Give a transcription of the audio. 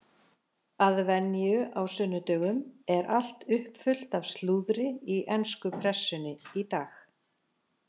Að venju á sunnudögum er allt uppfullt af slúðri í ensku pressunni í dag.